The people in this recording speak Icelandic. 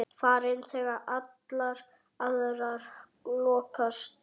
Farin þegar allar aðrar lokast.